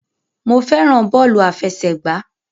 Mo fẹ́ràn bọ́ọ̀lù àfẹsẹ̀gbá.